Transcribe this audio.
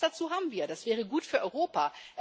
Die Chance dazu haben wir, das wäre gut für Europa.